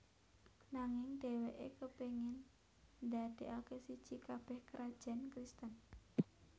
Nanging dheweke kepingin ndadekake siji kabeh krajan Kristen